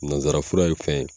Nanzara fura ye fɛn ye